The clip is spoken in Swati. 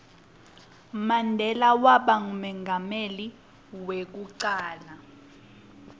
mandela waba ngumengameli weku cala